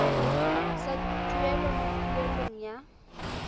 sa tuelo mo poelong ya